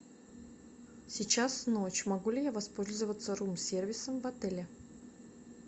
сейчас ночь могу ли я воспользоваться рум сервисом в отеле